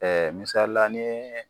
misalila ni ye